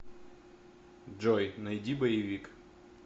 джой найди боевик